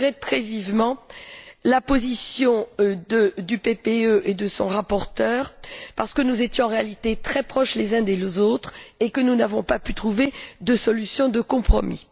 Je regrette très vivement la position du groupe du PPE et de son rapporteur, parce que nous étions, en réalité, très proches les uns des autres et que nous n'avons pas pu trouver de solution de compromis.